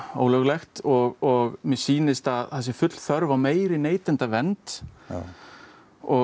ólöglegt og mér sýnist að það sé full þörf á neytendavernd og